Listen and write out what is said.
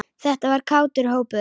Þetta var kátur hópur.